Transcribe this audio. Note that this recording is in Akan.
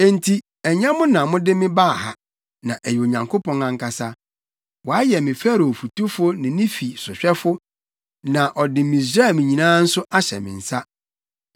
“Enti ɛnyɛ mo na mode me baa ha, na ɛyɛ Onyankopɔn ankasa! Wayɛ me Farao fotufo ne ne fi sohwɛfo, na ɔde Misraiman nyinaa nso ahyɛ me nsa.